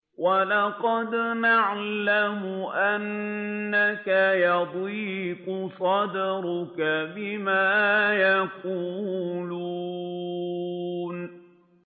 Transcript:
وَلَقَدْ نَعْلَمُ أَنَّكَ يَضِيقُ صَدْرُكَ بِمَا يَقُولُونَ